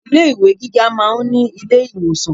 Ilé ìwé gíga máa ń ní ilé ìwòsàn.